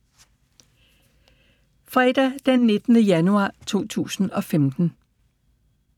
Fredag d. 9. januar 2015